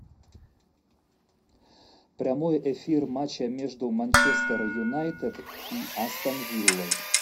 прямой эфир матча между манчестер юнайтед и астон виллой